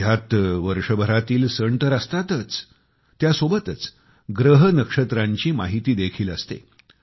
ह्यात वर्षभरातील सण तर असताच त्यासोबतच ग्रह नक्षत्रांची माहिती देखील असते